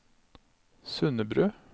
Sundebru